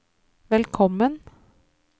velkommen